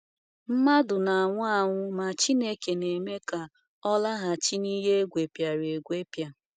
Mmadụ na-anwụ anwụ, ma Chineke na-eme ka ọ “laghachi n’ihe egwepịara egwepịa.”